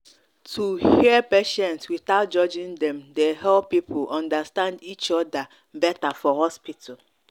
to hear patients without judging dem dey help people understand each other better for hospital.